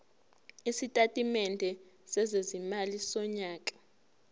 isitatimende sezimali sonyaka